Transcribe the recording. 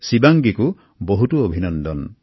শিৱাংগীকো বহুতো অভিনন্দন